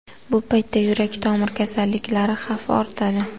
Bu paytda yurak-tomir kasalliklari xavfi ortadi.